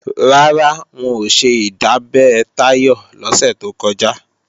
Rárá, wọn ò ṣe ìdábẹ́ Táyọ̀ lọ́sẹ̀ tó kọjá